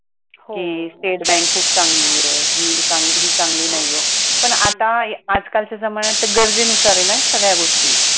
कि state bank खूप चांगली आहे हे चांगली नाही आहे, पण आता आजकालच्या जमान्यात तर गरजेनुसार आहे ना सगळ्या गोष्टी